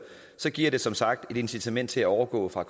så giver det som sagt et incitament til at overgå fra